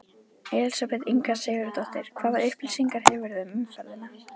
Elísabet Inga Sigurðardóttir: Hvaða upplýsingar hefurðu um umferðina?